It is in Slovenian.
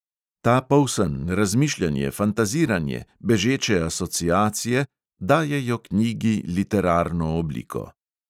Ta polsen, razmišljanje, fantaziranje, bežeče asociacije dajejo knjigi literarno obliko.